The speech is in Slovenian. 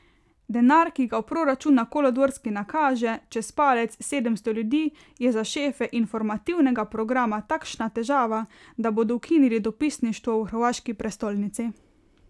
Denar, ki ga v proračun na Kolodvorski nakaže, čez palec, sedemsto ljudi, je za šefe informativnega programa takšna težava, da bodo ukinili dopisništvo v hrvaški prestolnici.